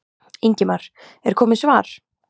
Ingimar: Er komið svar?